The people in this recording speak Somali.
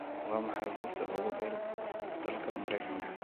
waa maxay buurta ugu dheer dalka maraykanka